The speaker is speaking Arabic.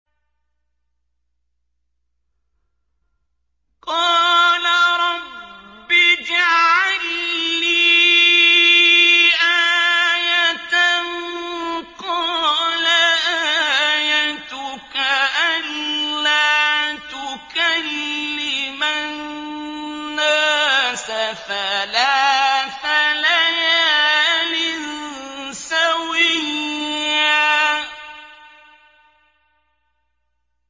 قَالَ رَبِّ اجْعَل لِّي آيَةً ۚ قَالَ آيَتُكَ أَلَّا تُكَلِّمَ النَّاسَ ثَلَاثَ لَيَالٍ سَوِيًّا